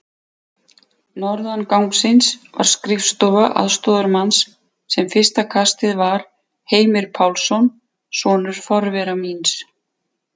Norðan gangsins var skrifstofa aðstoðarmanns, sem fyrsta kastið var Heimir Pálsson, sonur forvera míns